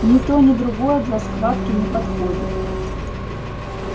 ни то ни другое для схватки не подходит